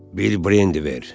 Bir brendi ver.